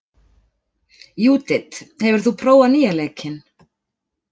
Júdit, hefur þú prófað nýja leikinn?